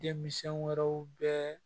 Denmisɛn wɛrɛw bɛ